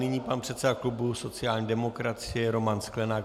Nyní pan předseda klubu sociální demokracie Roman Sklenák.